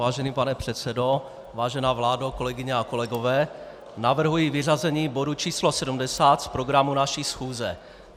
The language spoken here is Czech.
Vážený pane předsedo, vážená vládo, kolegyně a kolegové, navrhuji vyřazení bodu číslo 70 z programu naší schůze.